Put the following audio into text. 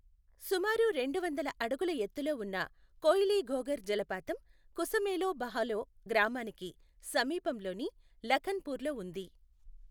సుమారు రెండు వందల అడుగుల ఎత్తులో ఉన్న కోయిలీఘోగర్ జలపాతం, కుశమేలో బహలో గ్రామానికి సమీపంలోని లఖన్ పూర్ లో ఉంది.